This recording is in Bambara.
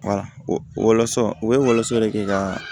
walasɔn u bɛ wɔlɔ de kɛ kaa